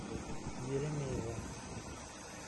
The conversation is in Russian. еремеева